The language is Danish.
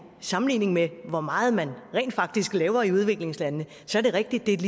sammenligning med hvor meget man rent faktisk laver i udviklingslandene det er rigtigt